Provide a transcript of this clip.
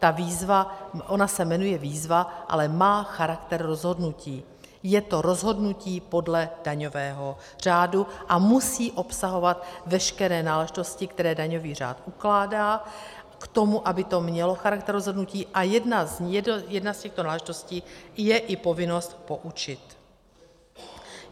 Ta výzva, ona se jmenuje výzva, ale má charakter rozhodnutí, je to rozhodnutí podle daňového řádu a musí obsahovat veškeré náležitosti, které daňový řád ukládá k tomu, aby to mělo charakter rozhodnutí, a jedna z těchto náležitostí je i povinnost poučit.